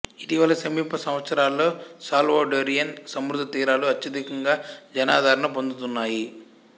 ఇటీవలి సమీప సంవత్సరాలలో సాల్వడోరియన్ సముద్రతీరాలు అత్యధికంగా జనాదరణ పొందుతున్నాయి